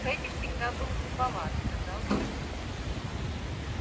фэтти всегда был глуповат сказал билл